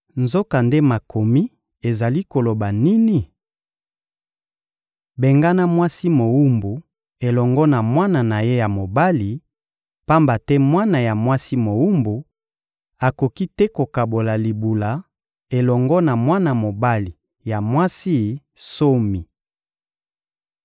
Nzokande Makomi ezali koloba nini? «Bengana mwasi mowumbu elongo na mwana na ye ya mobali, pamba te mwana ya mwasi mowumbu akoki te kokabola libula elongo na mwana mobali ya mwasi nsomi.»